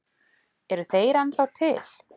Eru þeir ennþá til?